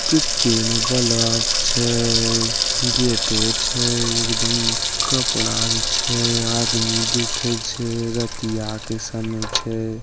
केतेन बलब छे गेटो छै एकदम कपड़ा भी छै आदमी दिखई छै रतिया के समय छै।